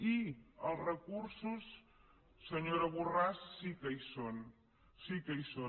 i els recursos senyora borràs sí que hi són sí que hi són